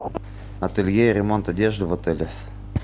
ателье и ремонт одежды в отеле